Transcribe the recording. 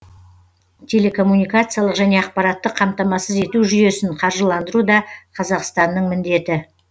телекоммуникациялық және ақпараттық қамтамасыз ету жүйесін қаржыландыру да қазақстанның міндеті